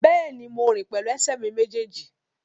Bẹ́ẹ̀ni, mo rìn pẹ̀lú ẹsẹ̀ mi méjèèjì